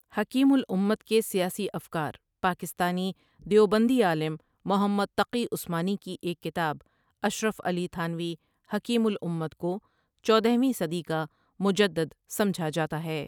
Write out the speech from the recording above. حکیم الامت کے سیاسی افکار پاکستانی دیوبندی عالم محمد تقی عثمانی کی ایک کتاب اشرف علی تھانوی حکیم الامت کو چودھویں صدی کا مجدد سمجھا جاتا ہے ۔